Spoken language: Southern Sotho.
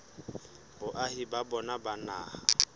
boahi ba bona ba naha